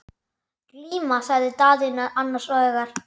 Glíma, sagði Daðína annars hugar.